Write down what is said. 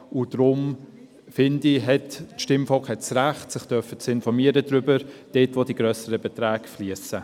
Deshalb finde ich, hat das Stimmvolk das Recht, sich darüber zu informieren, wo grössere Beträge fliesen.